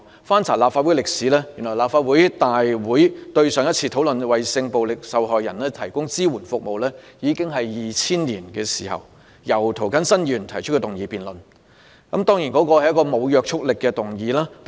翻查立法會歷史，原來立法會上一次在會議上討論為性暴力受害人提供支援服務，已經是2000年的事，當時是由涂謹申議員動議一項沒有約束力的議案辯論。